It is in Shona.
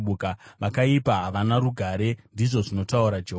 “Vakaipa havana rugare,” ndizvo zvinotaura Jehovha.